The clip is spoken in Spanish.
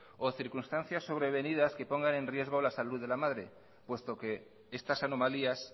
o circunstancias sobrevenidas que pongan en riesgo la salud de la madre puesto que estas anomalías